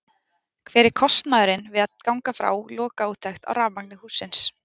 Hver er kostnaðurinn við að ganga frá lokaúttekt á rafmagni hússins?